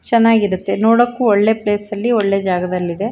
ಚನ್ನಾಗಿರುತ್ತೆ ನೋಡಕ್ಕು ಒಳ್ಳೆ ಪ್ಲೇಸ್ ಅಲ್ಲಿ ಒಳ್ಳೆ ಜಾಗದಲ್ಲಿ ಇದೆ.